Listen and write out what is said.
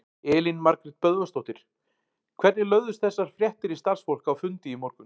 Elín Margrét Böðvarsdóttir: Hvernig lögðust þessar fréttir í starfsfólk á fundi í morgun?